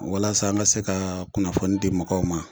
Walasa an ga se ka kunnafoni di mɔgɔw ma